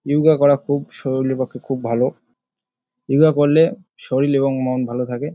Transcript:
যোগা করা খুব শরীরের পক্ষে খুব ভালো | যোগা করলে শরীর এবং মন ভালো থাকে।